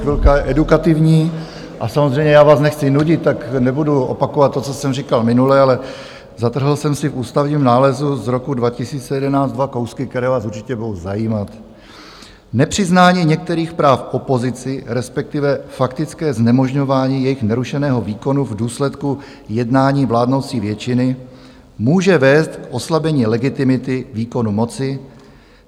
Chvilka edukativní - a samozřejmě, já vás nechci nudit, tak nebudu opakovat to, co jsem říkal minule, ale zatrhl jsem si v ústavním nálezu z roku 2011 dva kousky, které vás určitě budou zajímat: "Nepřiznání některých práv opozici, respektive faktické znemožňování jejich nerušeného výkonu v důsledku jednání vládnoucí většiny, může vést k oslabení legitimity výkonu moci.